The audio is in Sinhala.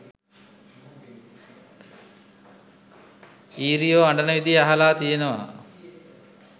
ඊරියෝ අඬන විදිය අහලා තියනවා